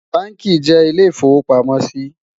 bánkì jé ilé ifọ̀wopàmọ sí